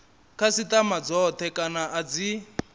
khasitama dzothe kana a dzi